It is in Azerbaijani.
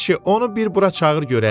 Əşi, onu bir bura çağır görək.